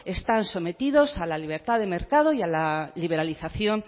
están sometidos a la libertad de mercado y a la liberalización